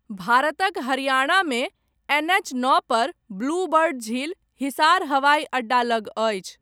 भारतक हरियाणामे, एनएच नओपर, ब्लू बर्ड झील, हिसार हवाइ अड्डा लग अछि।